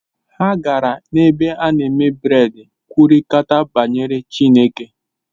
Ha gara n’ebe a na-eme bred kwurịta banyere Chineke